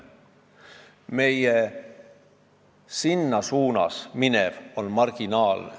Meil läheb sellesse suunda marginaalne osa toodangust.